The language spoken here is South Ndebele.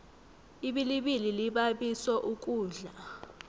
ibilibili libabiso ukudla